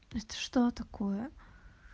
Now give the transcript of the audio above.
это что такое